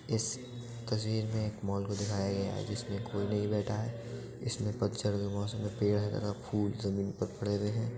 इस तस्वीर मे एक मॉल को दिखाया गया है जिसमें कोई नही बैठा है। इसमें पतझड मौसम के पेड़ है तथा फुल ज़मीन पर पड़े हुए है।